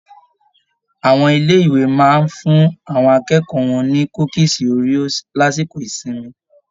Àwọn ilé ìwé máa n fún àwọn akẹ́kọ̀ọ́ wọn ni kúkísí Oreos lásìkò ìsinmi.